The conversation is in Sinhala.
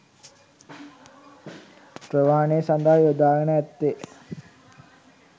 ප්‍රවාහනය සඳහා යොදාගෙන ඇත්තේ